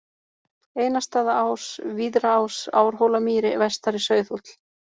Einarsstaðaás, Víðraás, Árhólamýri, Vestari-Sauðhóll